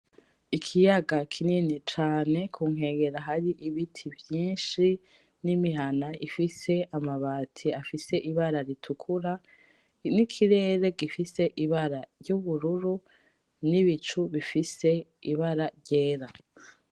Ikiyaga kinini cane kunkengera hari ibiti vyinshi, n'imihana ifise amabati afise ibara ritukura, n'ikirere gufise ibara ry'ubururu, n'ibicu bifise ibara ryera .